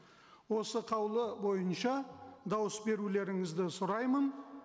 осы қаулы бойынша дауыс берулеріңізді сұраймын